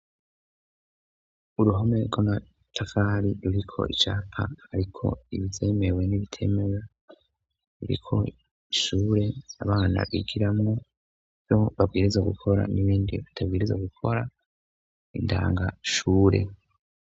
Uruhome rw'amatafari, ruriko icapa hariko ivyemewe n'ibitemewe ruriko ishure abana bigiramwo ivyo babwirizwa gukora n'ibindi batabwirizwa gukora, indangashure.